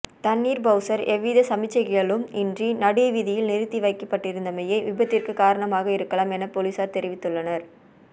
தண்ணீர் பவுசர் எவ்வித சமிக்ஞைகளும் இன்றி நடு வீதியில் நிறுத்தி வைக்கப்பட்டிருந்தமையே விபத்திற்கு காரணமாக இருக்கலாம் என பொலிசார் தெரிவித்துள்ளனர்